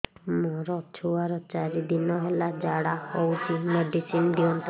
ମୋର ଛୁଆର ଚାରି ଦିନ ହେଲା ଝାଡା ହଉଚି ମେଡିସିନ ଦିଅନ୍ତୁ